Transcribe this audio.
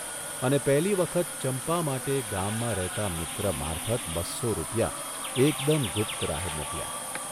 અને પહેલી વખત ચંપા માટે ગામમાં રહેતા મિત્ર મારફત બસો રૂપિયા એકદમ ગુપ્ત રાહે મોકલ્યા.